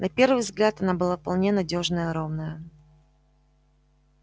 на первый взгляд она была вполне надёжная ровная